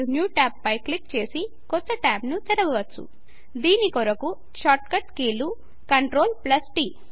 000140 000139 దీని కొరకు shortcut కీలు CTRLT